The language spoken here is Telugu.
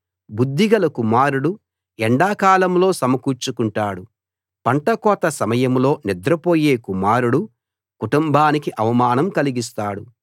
బుద్ధిగల కుమారుడు ఎండాకాలంలో సమకూర్చుకుంటాడు పంట కోత సమయంలో నిద్రపోయే కుమారుడు కుటుంబానికి అవమానం కలిగిస్తాడు